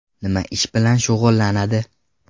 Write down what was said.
Nima ish bilan shug‘ullanadi?